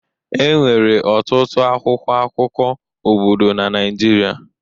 Enwere ọtụtụ akwụkwọ akụkọ obodo na Naịjirịa